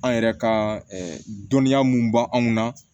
An yɛrɛ ka dɔnniya mun b'anw na